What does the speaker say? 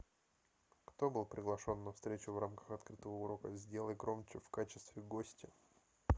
кто был приглашен на встречу в рамках открытого урока сделай громче в качестве гостя